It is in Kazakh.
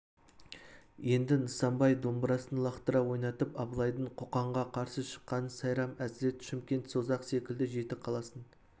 енді нысанбай домбырасын лақтыра ойнатып абылайдың қоқанға қарсы шыққанын сайрам әзірет шымкент созақ секілді жеті қаласын